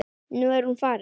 Nú er hún farin.